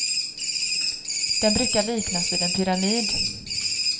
Den brukar liknas vid en pyramid.